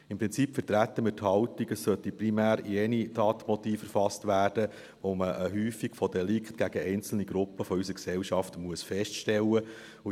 Im Prinzip vertreten wir die Haltung, es sollten primär jene Tatmotive erfasst werden, bei denen man eine Häufung von Delikten gegen einzelne Gruppen unserer Gesellschaft feststellen muss.